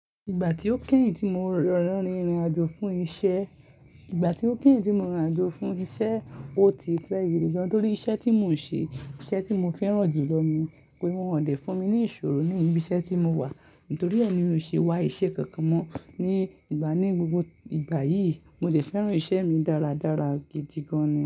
Ìgbà tí ó kẹ́yìn tí mo rọrùn rìn ìrìn àjò fún iṣẹ́, ìgbà tí ó kẹ́yìn tí mo rìn àjò fún iṣẹ́, ó ti fẹ́yìyì gan-an torí iṣẹ́ tí mò ń ṣe, iṣẹ́ tí mo fẹ́ràn jù lọ ni pé wọ́n ò lè fún mi ní ìṣòro nínú ibi iṣẹ́ tí mo wà nítorí ẹ́ mi ò ṣe wá iṣẹ́ kankan mọ́ ní ìgbà ní gbogbo ìgbà yìí. Mo sì fẹ́ràn iṣẹ́ mi dára dára gidi gan-an ni.